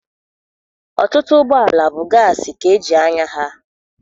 Ọtụtụ ụgbọala bụ gaasị ka eji anya ha.